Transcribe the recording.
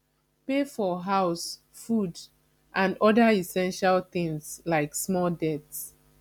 pay for house food and oda essestial things like small debts